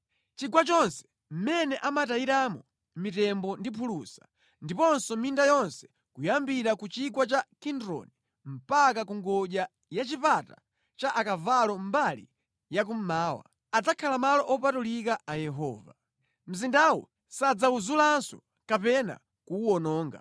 Chigwa chonse mʼmene amatayiramo mitembo ndi phulusa, ndiponso minda yonse kuyambira ku Chigwa cha Kidroni mpaka ku ngodya ya Chipata cha Akavalo mbali ya kummawa, adzakhala malo opatulika a Yehova. Mzindawu sadzawuzulanso kapena kuwuwononga.”